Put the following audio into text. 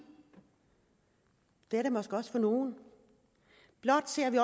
det er det måske også for nogle blot ser vi